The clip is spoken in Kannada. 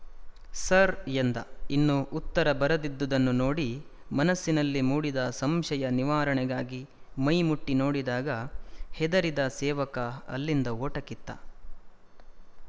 ಸರ್ ಎಂದ ಇನ್ನೂ ಉತ್ತರ ಬರದಿದ್ದುದನ್ನು ನೋಡಿ ಮನಸ್ಸಿನಲ್ಲಿ ಮೂಡಿದ ಸಂಶಯನಿವಾರಣೆಗಾಗಿ ಮೈ ಮುಟ್ಟಿ ನೋಡಿದಾಗ ಹೆದರಿದ ಸೇವಕ ಅಲ್ಲಿಂದ ಓಟ ಕಿತ್ತ